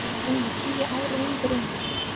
Hún er tíu árum yngri en